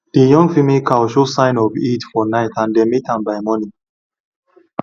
the young female cow show sign of heat for night and dem mate am by morning